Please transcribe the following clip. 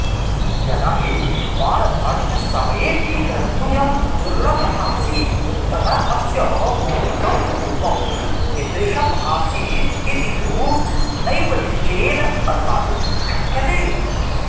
यदा हि बाणभट्टसमयेऽपि ग्रन्थोऽयं दुर्लभ आसीत्तदाऽस्य मौलिकं रूपं कीदृशमासीदिति तु नैव निश्चयेन अनुमातुं शक्यते